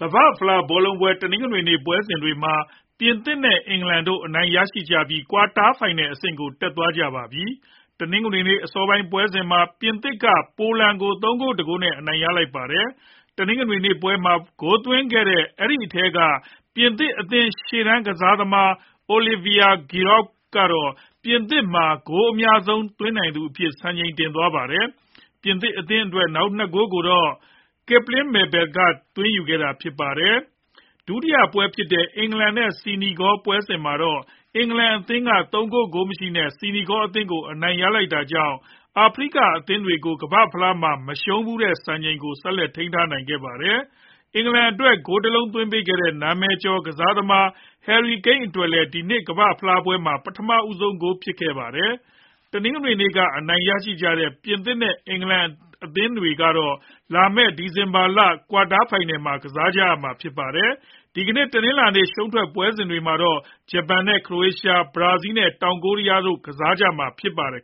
ကမ္ဘာ့ဖလား ဘောလုံးပွဲ တနင်္ဂနွေနေ့ ပွဲစဉ်တွေမှာ ပြင်သစ်နဲ့ အင်္ဂလန်အသင်းတို့ အနိုင်ရခဲ့ကြပြီး ကွာတာဖိုင်နယ်အဆင့်ကို တက်သွားကြပါပြီ။ တနင်္ဂနွေနေ့ အစောပိုင်း ပွဲစဉ်မှာ ပြင်သစ်က ပိုလန်ကို ၃ ဂိုး ၁ ဂိုးနဲ့ အနိုင်ရလိုက်တာပါ။ တနင်္ဂနွေနေ့ပွဲမှာ ဂိုးသွင်းခဲ့တဲ့ အထဲက ပြင်သစ်အသင်း ရှေ့တန်းကစားသမား Olivier Giroud ကတော့ ပြင်သစ်မှာ ဂိုးအများဆုံး သွင်းနိုင်သူအဖြစ် စံချိန်တင်သွားပါတယ်။ ပြင်သစ်အသင်းအတွက် နောက် ၂ ဂိုးကိုတော့ Kylian Mbappe ကသွင်းခဲ့တာပါ။ ဒုတိယပွဲဖြစ်တဲ့ အင်္ဂလန်နဲ့ ဆီနီဂေါ ပွဲစဉ်မှာတော့ အင်္ဂလန်အသင်းက ၃ ဂိုး ဂိုးမရှိနဲ့ ဆီနီဂေါအသင်း ကို အနိုင်ရလိုက်တာကြောင့် အာဖရိက အသင်းတွေကို ကမ္ဘာ့ဖလားမှာ မရှုံးဖူးသေးတဲ့ စံချိန်ကိုလည်း ထိန်းနိုင်ခဲ့ပါတယ်။ အင်္ဂလန်အတွက် ဂိုး ၁ လုံး သွင်းပေးခဲ့တဲ့ နာမည်ကျော် ကစားသမား Harry Kane အတွက်လည်း ဒီနှစ်ကမ္ဘာ့ဖလားမှာ ပထမဆုံး ဂိုးဖြစ်ခဲ့ပါတယ်။ တနင်္ဂနွေနေ့က အနိုင်ရခဲ့ကြတဲ့ ပြင်သစ်နဲ့ အင်္ဂလန်အသင်းတွေကတော့ လာမယ့် ဒီဇင်ဘာ ၁၀ ရက် ကွာတားဖိုင်နယ်မှာ ကစားကြရမှာဖြစ်ပါတယ်။ ဒီကနေ့ တနလာၤနေ့ ရှုံးထွက်ပွဲစဉ်တွေမှာတော့ ဂျပန် နဲ့ ခရိုအေးရှား၊ ဘရာဇီး နဲ့ တောင်ကိုရီးယား တို့ ကစားကြမှာ ဖြစ်ပါတယ်